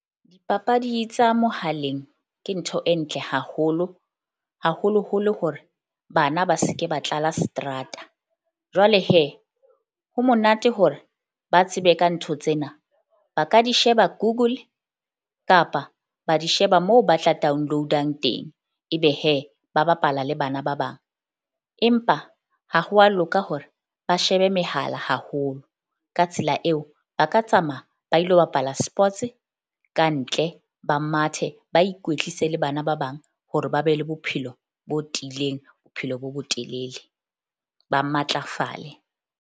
Dipapadi tsa mohaleng ke ntho e ntle haholo haholo holo hore bana ba se ke ba tlala seterata. Jwale ho monate hore ba tsebe ka ntho tsena ba ka di sheba Google kapa ba di sheba moo ba tla download-ang teng. Ebe ba bapala le bana ba bang, empa ha ho wa loka hore ba shebe mehala haholo. Ka tsela eo ba ka tsamaya ba ilo bapala sports-e kantle. Ba mathe, ba ikwetlise le bana ba bang, hore ba be le bophelo bo tiileng, bophelo bo bo telele ba matlafale.